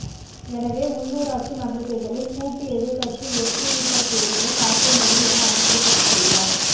எனவே உள்ளுராட்சி மன்றத் தேர்தலில் கூட்டு எதிர்க்கட்சி வெற்றியீட்டக்கூடிய சாத்தியமில்லை என அவர் குறிப்பிட்டுள்ளார்